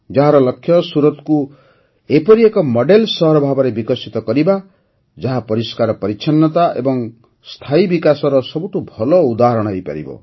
ଏହାର ଲକ୍ଷ୍ୟ ସୁରତକୁ ଏପରି ଏକ ମଡେଲ୍ ସହର ଭାବେ ବିକଶିତ କରିବା ଯାହା ପରିଷ୍କାର ପରିଚ୍ଛନ୍ନତା ଓ ସ୍ଥାୟୀ ବିକାଶର ସବୁଠୁ ଭଲ ଉଦାହରଣ ହୋଇପାରିବ